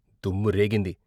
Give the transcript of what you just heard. దుమ్ము రేగింది.